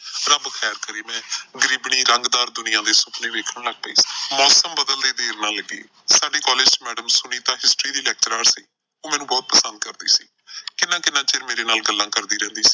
ਰੱਬ ਕਰੇ ਮੈਂ ਗਰੀਬਣੀ ਰੰਗਦਾਰ ਦੁਨੀਆਂ ਦੇ ਸੁਪਨੇ ਲੱਗ ਪਈ। ਮੌਸਮ ਬਦਲਦੇ ਦੇਰ ਨਾ ਲੱਗੀ। ਸਾਡੇ ਕਾਲਜ ਚ ਮੈਡਮ ਸੁਨੀਤਾ History ਦੀ ਲੈਕਚਰਾਰ ਸੀ ਉਹ ਮੈਨੂੰ ਬਹੁਤ ਪਸੰਦ ਕਰਦੀ ਸੀ, ਕਿੰਨਾ ਕਿੰਨਾ ਚਿਰ ਮੇਰੇ ਨਾਲ ਗੱਲਾਂ ਕਰਦੀ ਰਹਿੰਦੀ।